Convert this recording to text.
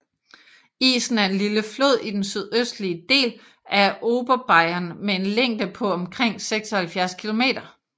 Isen er en lille flod i den sydøstlige del af Oberbayern med en længde på omkring 76 kilometer